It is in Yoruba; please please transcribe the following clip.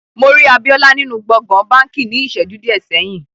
Mo rí Àbíolá nínu gbogbòn bánkì ní íṣẹ́ju diẹ sẹ̀yin.